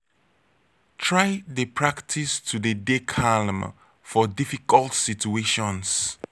try de practice to de dey calm for difficult situations